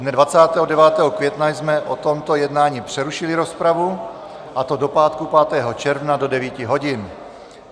Dne 29. května jsme o tomto jednání přerušili rozpravu, a to do pátku 9. června do 9 hodin.